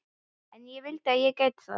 En ég vildi að ég gæti það.